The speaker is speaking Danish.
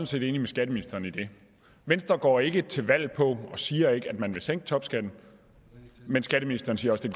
set enig med skatteministeren i det venstre går ikke til valg på og siger ikke at man vil sænke topskatten men skatteministeren siger også